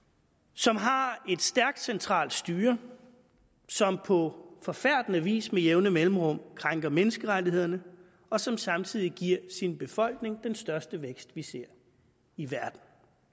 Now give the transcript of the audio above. som har et stærkt centralt styre som på forfærdende vis med jævne mellemrum krænker menneskerettighederne og som samtidig giver sin befolkning den største vækst vi ser i verden